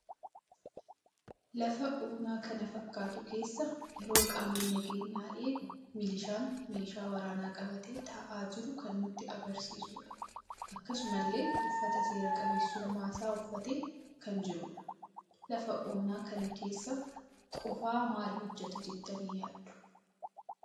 Lafa onaa kan fakkatu keessa yeroo qaamni nageenya eegu milishaan meesha waraana qabate taa'aa jiru kan nutti agarsiisuudha. Akkasumalle uffata seeraa qabeessumma isaa uffatee kan jirudha. Lafa onaa kana keessa qofa maal hojjeta jettani yaaddu?